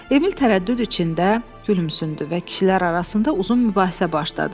Emil tərəddüd içində gülümsündü və kişilər arasında uzun mübahisə başladı.